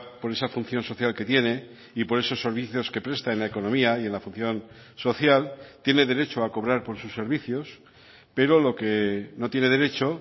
por esa función social que tiene y por esos servicios que presta en la economía y en la función social tiene derecho a cobrar por sus servicios pero lo que no tiene derecho